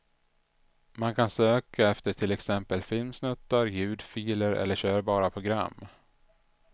Man kan söka efter till exempel filmsnuttar, ljudfiler eller körbara program.